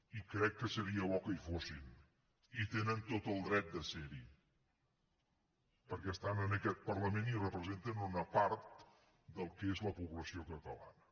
i crec que seria bo que hi fossin i tenen tot el dret de serhi perquè estan en aquest parlament i representen una part del que és la població catalana